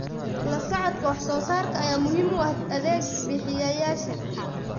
La socodka wax soo saarka ayaa muhiim u ah adeeg bixiyayaasha.